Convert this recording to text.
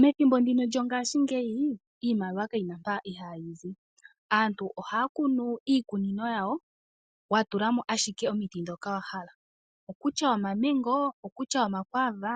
Methimbo nduno lyongaaashingeyi iimaliwa kayina mpa i haayi zi. Aantu ohaya kunu iikunino yawo yatulamo ashike omiti dhoka yahala okutya omamengo, okutya omakwaava,